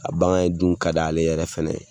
A bangan ye dun ka di ale yɛrɛ fana